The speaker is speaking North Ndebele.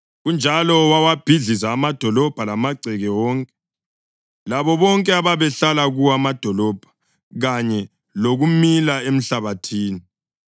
Kanjalo wawabhidliza amadolobho lamagceke wonke, labo bonke ababehlala kuwo amadolobho kanye lokumila emhlabathini.